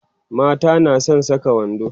mata na San Saka wando